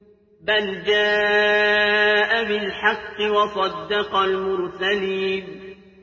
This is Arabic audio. بَلْ جَاءَ بِالْحَقِّ وَصَدَّقَ الْمُرْسَلِينَ